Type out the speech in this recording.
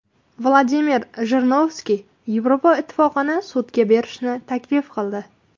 Vladimir Jirinovskiy Yevropa Ittifoqini sudga berishni taklif qildi.